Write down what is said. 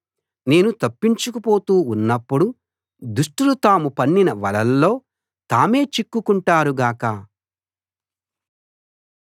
నేను తప్పించుకుపోతూ ఉన్నప్పుడు దుష్టులు తాము పన్నిన వలల్లో తామే చిక్కుకుంటారు గాక